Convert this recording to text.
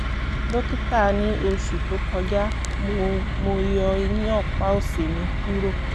dókítà ní oṣù tó kọjá mo mo yọ eyín ọ̀pá òsì mi kúrò